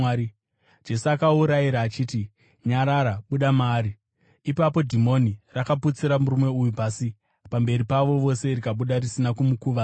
Jesu akaurayira achiti, “Nyarara! Buda maari!” Ipapo dhimoni rakaputsira murume uyu pasi pamberi pavo vose rikabuda risina kumukuvadza.